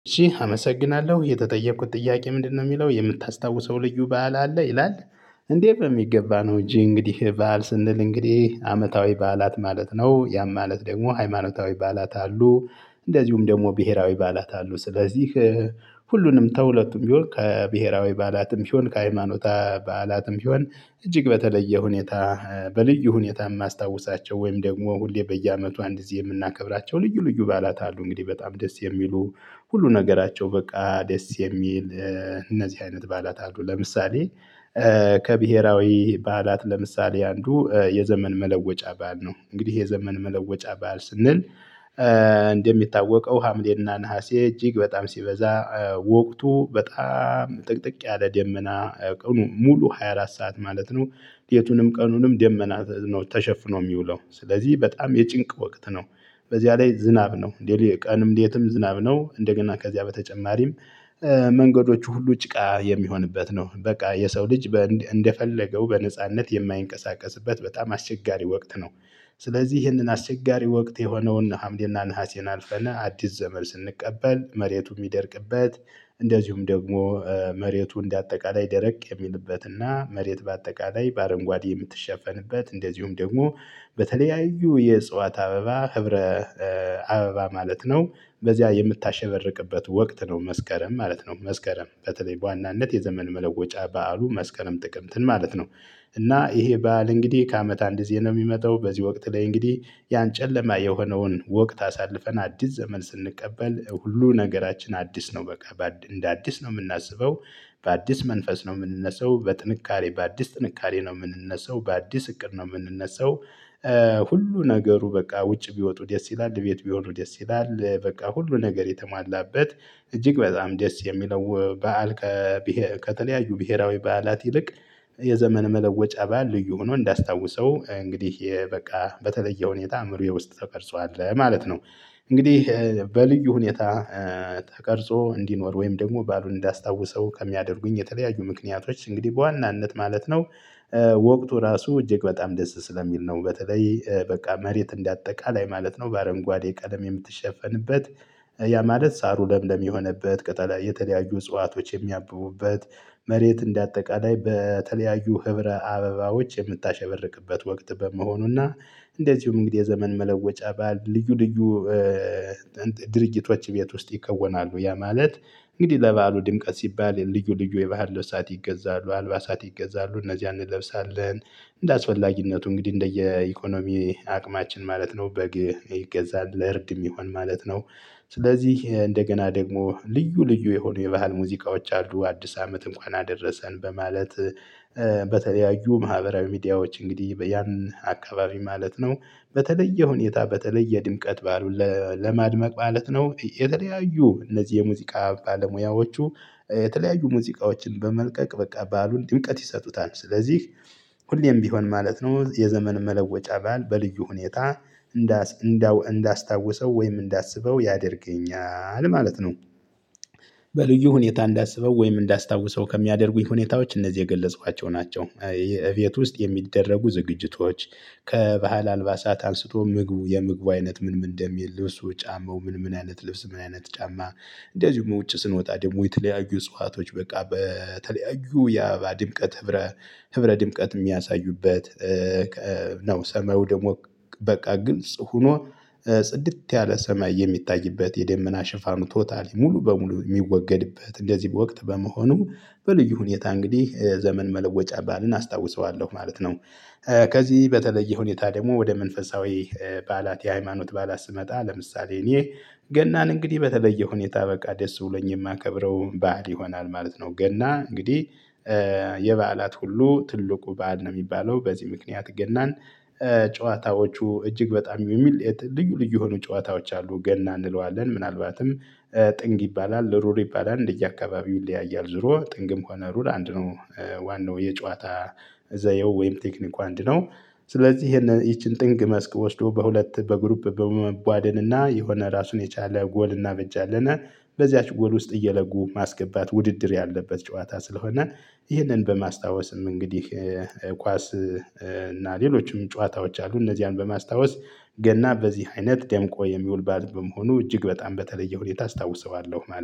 እሺ አመሰግናለሁ የተጠየቅኩት ጥያቄ ምንድነው የሚለው የምታስታውሰው ልዩ በዓል አለ ይላል? እንዴት ነው በሚገባ ነው እንጂ እንግዲህ በዓል ስንል እንግዲህ አመታዊ በዓላት ማለት ነው ያም ማለት ደግሞ ሃይማኖታዊ በዓላት አሉ። እንደዚሁም ደግሞ ብሄራዊ በዓላት አሉ። ስለዚህ ሁሉንም ተሁለቱም ቢሆን ከብሄራዊ በዓላትም ቢሆን ከሃይማኖታ በዓላትም ቢሆን እጅግ በተለየ ሁኔታ በልዩ ሁኔታ የማስታውሳቸው ወይም ደግሞ ሁሌ በየአመቱ አንድ ጊዜ የምናከብራቸው ልዩ ልዩ በዓላት አሉ። እንግዲህ በጣም ደስ የሚሉ ሁሉ ነገራቸው በቃ ደስ የሚል እነዚህ አይነት በዓላት አሉ። ለምሳሌ ከብሄራዊ በዓላት ለምሳሌ አንዱ የዘመን መለወጫ በዓል ነው። እንግዲህ የዘመን መለወጫ በዓል ስንል እንደሚታወቀው ሀምሌና ነሀሴ እጅግ በጣም ሲበዛ ወቅቱ በጣም ጥቅጥቅ ያለ ደመና ቀኑ ሙሉ ሃያ አራት ሰዓት ማለት ነው። ሌቱንም ቀኑንም ደመና ነው ተሸፍኖ የሚውለው ስለዚህ በጣም የጭንቅ ወቅት ነው። በዚያ ላይ ዝናብ ነው እንዴ ቀንም እንዴትም ዝናብ ነው እንደገና ከዚያ በተጨማሪም። መንገዶቹ ሁሉ ጭቃ የሚሆንበት ነው በቃ የሰው ልጅ እንደፈለገው በነጻነት የማይንቀሳቀስበት በጣም አስቸጋሪ ወቅት ነው። ስለዚህ ይህንን አስቸጋሪ ወቅት የሆነውን ሀምሌና ነሀሴን አልፈነ አዲስ ዘመን ስንቀበል መሬቱ የሚደርቅበት። እንደዚሁም ደግሞ መሬቱ እንደ አጠቃላይ ደረቅ የሚልበትና መሬት በአጠቃላይ በአረንጓዴ የምትሸፈንበት እንደዚሁም ደግሞ በተለያዩ የእጽዋት አበባ ህብረ አበባ ማለት ነው። በዚያ የምታሸበርቅበት ወቅት ነው መስከረም ማለት ነው መስከረም በተለይ በዋናነት የዘመን መለወጫ በዓሉ መስከረም ጥቅምትን ማለት ነው። እና ይሄ በዓል እንግዲህ ከአመት አንድ ሊመጣው በዚህ ወቅት ላይ እንግዲህ ያን ጨለማ የሆነውን ወቅት አሳልፈን አዲስ ዘመን ስንቀበል ሁሉ ነገራችን አዲስ ነው በቃ እንደ አዲስ ነው የምናስበው። በአዲስ መንፈስ ነው የምንነሳው በጥንካሬ በአዲስ ጥንካሬ ነው የምንነሳው በአዲስ እቅድ ነው የምንነሳው። ሁሉ ነገሩ በቃ ውጭ ቢወጡ ደስ ይላል ቤት ቢሆኑ ደስ ይላል በቃ ሁሉ ነገር የተሟላበት እጅግ በጣም ደስ የሚለው በዓል። ከተለያዩ ብሄራዊ በዓላት ይልቅ የዘመን መለወጫ በዓል ልዩ ሆኖ እንዳስታውሰው እንግዲህ በቃ በተለየ ሁኔታ አእምሮዬ ውስጥ ተቀርጿል ማለት ነው። እንግዲህ በልዩ ሁኔታ ተቀርጾ እንዲኖር ወይም ደግሞ ባሉን እንዳስታውሰው ከሚያደርጉኝ የተለያዩ ምክንያቶች እንግዲህ በዋናነት ማለት ነው። ወቅቱ ራሱ እጅግ በጣም ደስ ስለሚል ነው በተለይ በቃ መሬት እንደአጠቃላይ ማለት ነው በአረንጓዴ ቀለም የምትሸፈንበት። ያ ማለት ሳሩ ለምለም የሆነበት ቅጠል የተለያዩ እጽዋቶች የሚያብቡበት መሬት እንደ አጠቃላይ በተለያዩ ህብረ አበባዎች የምታሸብርቅበት ወቅት በመሆኑና። እንደዚሁም እንግዲህ የዘመን መለወጫ ባል ልዩ ልዩ ድርጊቶች ቤት ውስጥ ይከወናሉ ያ ማለት። እንግዲህ ለበዓሉ ድምቀት ሲባል ልዩ ልዩ የባህል ለሳት ይገዛሉ አልባሳት ይገዛሉ እነዚህ አንለብሳለን እንደ አስፈላጊነቱ እንግዲህ እንደየ ኢኮኖሚ አቅማችን ማለት ነው በግ ይገዛል ለእርድ የሚሆን ማለት ነው። ስለዚህ እንደገና ደግሞ ልዩ ልዩ የሆኑ የባህል ሙዚቃዎች አሉ አዲስ አመት እንኳን አደረሰን በማለት። በተለያዩ ማህበራዊ ሚዲያዎች እንግዲህ በያን አካባቢ ማለት ነው። በተለየ ሁኔታ በተለየ ድምቀት በዓሉን ለማድመቅ ማለት ነው የተለያዩ እነዚህ የሙዚቃ ባለሙያዎቹ። የተለያዩ ሙዚቃዎችን በመልቀቅ በቃ ባሉን ድምቀት ይሰጡታል ስለዚህ። ሁሌም ቢሆን ማለት ነው የዘመን መለወጫ በዓል በልዩ ሁኔታ እንዳስታውሰው ወይም እንዳስበው ያደርገኛል ማለት ነው። በልዩ ሁኔታ እንዳሰበው ወይም እንዳስታውሰው ከሚያደርጉኝ ሁኔታዎች እነዚህ የገለጽኳቸው ናቸው። እቤት ውስጥ የሚደረጉ ዝግጅቶች ከባህል አልባሳት አንስቶ ምግቡ የምግቡ አይነት ምን ምን እንደሚል ልብሱ ጫማው ምን ምን አይነት ልብስ ምን አይነት ጫማ። እንደዚሁም ውጪ ስንወጣ ደግሞ የተለያዩ እጽዋቶች በቃ በተለያዩ የአበባ ድምቀት ህብረ ህብረ ድምቀት የሚያሳዩበት። ነው ሰማዩ ደግሞ በቃ ግልጽ ሆኖ ጽድት ያለ ሰማይ የሚታይበት የደመና ሽፋኑ ቶታሊ ሙሉ በሙሉ የሚወገድበት እንደዚህ በወቅት በመሆኑ። በልዩ ሁኔታ እንግዲህ ዘመን መለወጫ በዓልን አስታውሰዋለሁ ማለት ነው። ከዚህ በተለየ ሁኔታ ደግሞ ወደ መንፈሳዊ በዓላት የሃይማኖት በዓላት ስመጣ ለምሳሌ እኔ እንግዲህ በተለየ ሁኔታ በቃ ደስ ብሎኝ የማከብረው በዓል ይሆናል ማለት ነው። ገና እንግዲህ። የበዓላት ሁሉ ትልቁ በዓል ነው የሚባለው በዚህ ምክንያት ገናን። ጨዋታዎቹ እጅግ በጣም የሚል ልዩ ልዩ የሆኑ ጨዋታዎች አሉ ገና እንለዋለን ምናልባትም ጥንብ ይባላል ሩር ይባላል እንደየአካባቢው ይለያያል ዞሮ ጥንግም ሆነ ሩር አንድ ነው። ዋናው የጨዋታ ዘየው ወይም ቴክኒኩ አንድ ነው። ስለዚህ ይቺን ጥንግ መስክ ወስዶ በሁለት በግሩፕ በመቧደን እና የሆነ ራሱን የቻለ ጎል እናበጃለናል በዚያች ጎል ውስጥ እየለጉ ማስገባት ውድድር ያለበት ጨዋታ ስለሆነ። ይህንን በማስታወስም እንግዲህ። ኳስ እና ሌሎችም ጨዋታዎች አሉ እነዚያን በማስታወስ ገና በዚህ አይነት ደምቆ የሚውል በዓል መሆኑ እጅግ በጣም በተለየ ሁኔታ አስታውሰዋለሁ